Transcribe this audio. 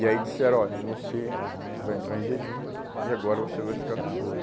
E aí disseram, olha, você vai entrar em jejum e agora você vai ficar no soro.